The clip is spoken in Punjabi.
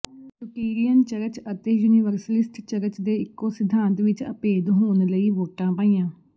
ਯੁਟੀਰੀਅਨ ਚਰਚ ਅਤੇ ਯੂਨੀਵਰਸਲਿਸਟ ਚਰਚ ਨੇ ਇਕੋ ਸਿਧਾਂਤ ਵਿਚ ਅਭੇਦ ਹੋਣ ਲਈ ਵੋਟਾਂ ਪਾਈਆਂ